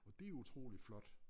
Og det utroligt flot